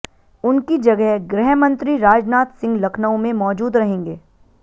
उनकी जगह गृहमंत्री राजनाथ सिंह लखनऊ में मौजूद रहेंगे